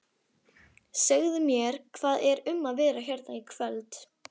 Segðu mér, hvað er um að vera hérna í kvöld?